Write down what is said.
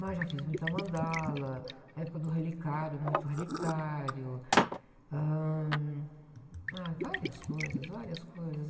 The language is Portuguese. Mas já fiz muita mandala, a época do relicário, muito relicário, ãh, ah, várias coisas, várias coisas.